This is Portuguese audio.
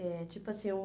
eh tipo assim, um...